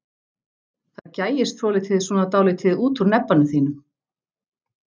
Það gægist svolítið svona dálítið út úr nebbanum þínum.